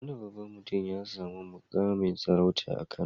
Wani babban mutum ya sami muƙamin sarauta a Kano.